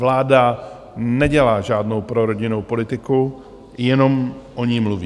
Vláda nedělá žádnou prorodinnou politiku, jenom o ní mluví.